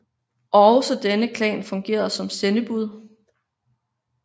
Også denne klan fungerede ofte som sendebud